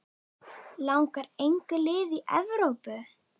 Langar engu liði í Evrópu?